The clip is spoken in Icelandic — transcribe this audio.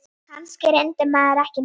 Kannski reyndi maður ekki nóg.